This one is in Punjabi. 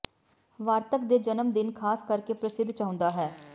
ਵਾਰਤਕ ਦੇ ਜਨਮ ਦਿਨ ਖਾਸ ਕਰਕੇ ਪ੍ਰਸਿੱਧ ਚਾਹੁੰਦਾ ਹੈ